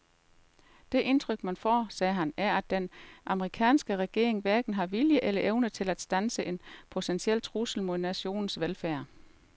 Det indtryk man får, sagde han, er at den amerikanske regering hverken har viljen eller evnen til at standse en potentiel trussel mod nationens velfærd.